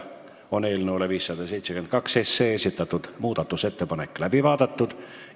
Eelnõu 572 kohta esitatud muudatusettepanek on läbi vaadatud.